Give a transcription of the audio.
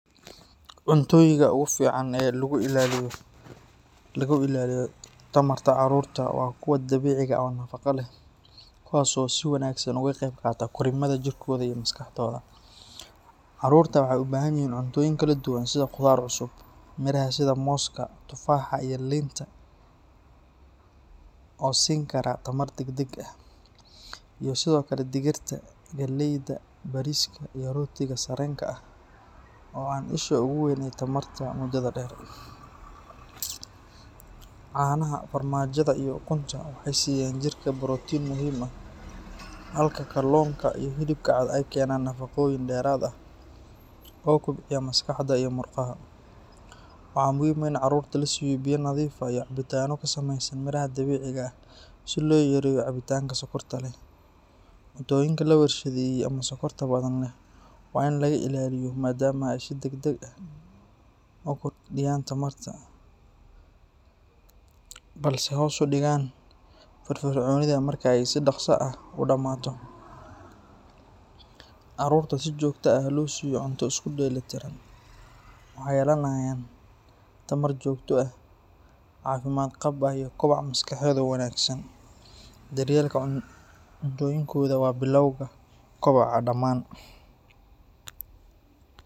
Cuntooyinka ugu fiican ee lagu ilaaliyo tamarta carruurta waa kuwa dabiiciga ah oo nafaqo leh kuwaas oo si wanaagsan uga qayb qaata korriimada jirkooda iyo maskaxdooda. Carruurta waxay u baahan yihiin cuntooyin kala duwan sida khudaar cusub, miraha sida mooska, tufaaxa iyo liinta oo siin kara tamar degdeg ah, iyo sidoo kale digirta, galeyda, bariiska iyo rootiga sarreenka ah oo ah isha ugu weyn ee tamarta muddada dheer. Caanaha, farmaajada iyo ukunta waxay siiyaan jirka borotiin muhiim ah halka kalluunka iyo hilibka cad ay keenaan nafaqooyin dheeraad ah oo kobciya maskaxda iyo murqaha. Waxaa muhiim ah in carruurta la siiyo biyo nadiif ah iyo cabitaanno ka samaysan miraha dabiiciga ah si loo yareeyo cabitaanka sokorta leh. Cuntooyinka la warshadeeyey ama sonkorta badan leh waa in laga ilaaliyo maadaama ay si degdeg ah u kordhiyaan tamarta balse hoos u dhigaan firfircoonida marka ay si dhakhso ah u dhammaato. Carruurta si joogto ah loo siiyo cunto isku dheelitiran waxay yeelanayaan tamar joogto ah, caafimaad qab ah iyo koboc maskaxeed oo wanaagsan. Daryeelka cuntooyinkooda waa bilowga kobocooda dhammaan.